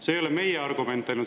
See ei ole meie väide ainult.